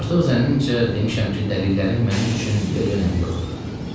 Artıq zənnimcə demişəm ki, dəlillərin mənim üçün bir də önəmi yoxdur.